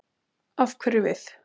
Af hverju við?